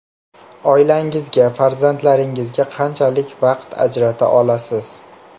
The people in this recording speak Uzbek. Oilangizga, farzandlaringizga qanchalik vaqt ajrata olasiz?